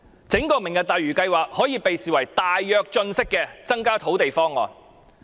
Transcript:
整個"明日大嶼"計劃，類似"大躍進"時期的增加土地方案。